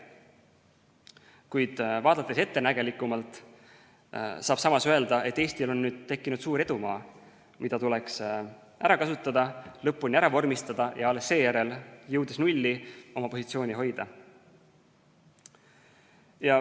Kuid vaadates ettenägelikumalt, saab samas öelda, et Eestil on nüüd tekkinud suur edumaa, mida tuleks ära kasutada, lõpuni ära vormistada ja alles seejärel, jõudes nulli, oma positsiooni hoida.